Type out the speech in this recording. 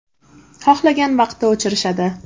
Xohlagan vaqtda o‘chirishadi.